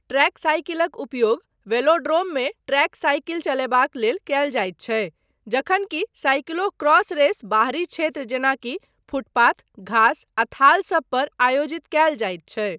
Track साइकिलक उपयोग वेलोड्रोममे ट्रैक साइकिल चलयबाक लेल कयल जाइत छै जखन कि साइकलो क्रॉस रेस बाहरी क्षेत्र जेनाकि फुटपाथ, घास आ थाल सब पर आयोजित कयल जाइत छै।